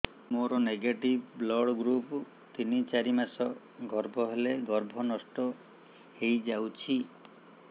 ମୋର negative blood group ତିନ ଚାରି ମାସ ଗର୍ଭ ହେଲେ ଗର୍ଭ ନଷ୍ଟ ହେଇଯାଉଛି